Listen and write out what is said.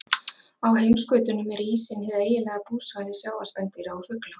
Á heimskautunum er ísinn hið eiginlega búsvæði sjávarspendýra og fugla.